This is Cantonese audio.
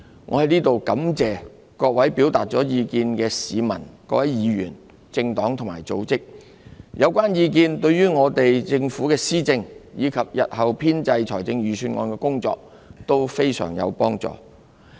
我在此感謝各位表達了意見的市民、議員、政黨及組織，有關意見對政府施政及日後編製預算案的工作均非常有幫助。